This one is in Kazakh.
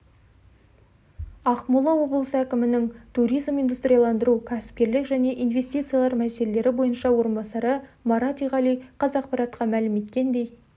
ақмола облысы әкімінің туризм индустрияландыру кәсіпкерлік және инвестициялар мәселелері бойынша орынбасары марат иғали қазақпаратқа мәлім еткендей